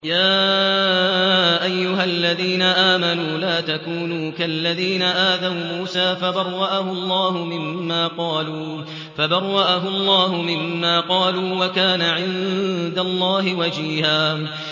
يَا أَيُّهَا الَّذِينَ آمَنُوا لَا تَكُونُوا كَالَّذِينَ آذَوْا مُوسَىٰ فَبَرَّأَهُ اللَّهُ مِمَّا قَالُوا ۚ وَكَانَ عِندَ اللَّهِ وَجِيهًا